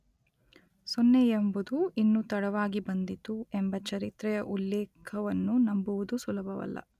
ಸೊನ್ನೆಯೆಂಬುದು ಇನ್ನೂ ತಡವಾಗಿ ಬಂದಿತು ಎಂಬ ಚರಿತ್ರೆಯ ಉಲ್ಲೇಖವನ್ನು ನಂಬುವುದು ಸುಲಭವಲ್ಲ.